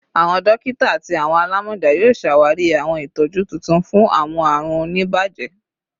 Awọn dokita ati awọn alamọja yoo ṣawari awọn itọju tuntun fun awọn arun onibaje